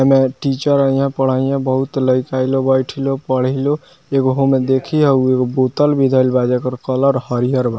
एमे टीचर अइ ह पढ़ाई ह बहुत लइका लोग बइठी लोग पढ़ी लोग एगो होमें देखी हउ एगो बोतल भी धइल बा जेकर कलर हरियर बा।